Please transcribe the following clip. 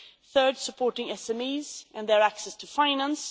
thirdly, supporting SMEs and their access to finance